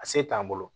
A se t'an bolo